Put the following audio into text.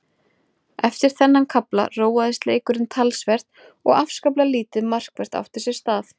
Eftir þennan kafla róaðist leikurinn talsvert og afskaplega lítið markvert átti sér stað.